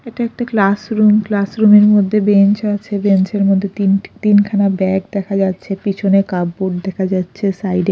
এটা একটা ক্লাসরুম ক্লাসরুম -এর মধ্যে বেঞ্চ আছে বেঞ্চ -এর মধ্যে তিনটে তিনখানা ব্যাগ দেখা যাচ্ছে পিছনে কাপ বোর্ড দেখা যাচ্ছে সাইড -এ--